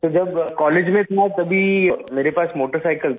sir जब college में था तभी मेरे पास मोटरसाइकिल था